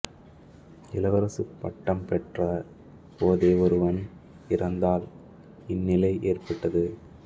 இளவரசுப் பட்டம் பெற்ற போதே ஒருவன் இறந்ததால் இந்நிலை ஏற்பட்டது